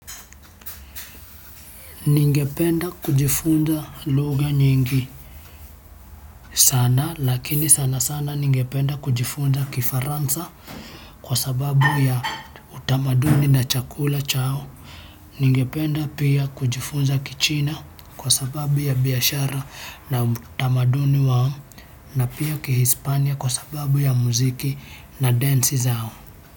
Ningependa kujifunza lugha nyingi sana lakini sana sana ningependa kujifunza Kifaransa kwa sababu ya utamaduni na chakula chao. Ningependa pia kujifunza Kichina kwa sababu ya biashara na utamaduni wao na pia Kihispania kwa sababu ya muziki na densi zao.